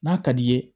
N'a ka d'i ye